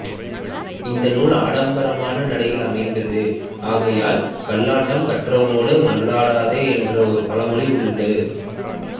இந்த நூல் ஆடம்பரமான நடையில் அமைந்தது ஆகையால் கல்லாடம் கற்றவனோடு மல்லாடதே என்று ஒரு பழமொழி உண்டு